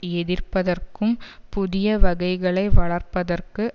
எதிர்ப்பதற்கும் புதிய வகைகளை வளர்ப்பதற்கு